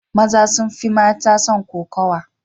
Maza sun fi mata son kokowa.